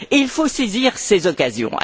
Et il faut saisir ces occasions!